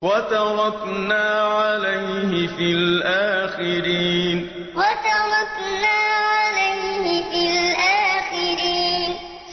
وَتَرَكْنَا عَلَيْهِ فِي الْآخِرِينَ وَتَرَكْنَا عَلَيْهِ فِي الْآخِرِينَ